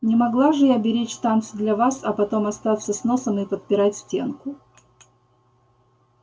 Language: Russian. не могла же я беречь танцы для вас а потом остаться с носом и подпирать стенку